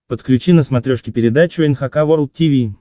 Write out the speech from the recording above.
подключи на смотрешке передачу эн эйч кей волд ти ви